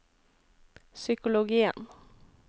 psykologien